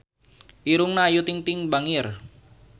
Irungna Ayu Ting-ting bangir